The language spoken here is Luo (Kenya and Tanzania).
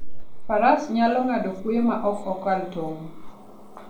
Faras nyalo ng'ado kwoyo ma ok okal tong'.